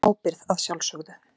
Í ábyrgð að sjálfsögðu.